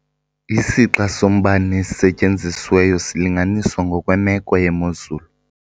Isixa sombane osetyenzisiweyo silinganiswa ngokwemeko yemozulu.